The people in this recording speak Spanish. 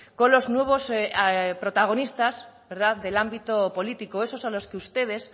con los nuevos protagonistas del ámbito político esos a los que ustedes